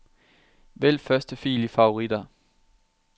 Vælg første fil i favoritter.